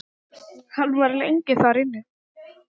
Hann var lengi þar inni.